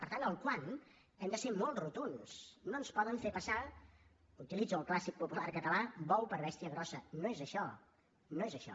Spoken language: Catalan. per tant en el quant hem de ser molt rotunds no ens poden fer passar utilitzo el clàssic popular català bou per bèstia grossa no és això no és això